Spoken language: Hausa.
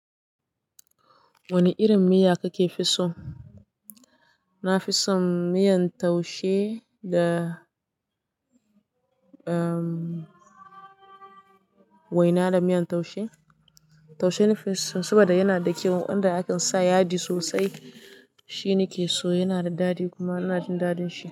Wane irin miya kake fi so? Na fi son miyan taushe da, uhm waina da miyan taushe. Taushe na fi so saboda yana da kyau, wanda a kan sa yaji sosai. Shi ni ke so, yana da daɗi kuma ina jin daɗin shi.